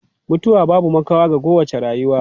Mutuwa babu makawa ga kowace rayuwa.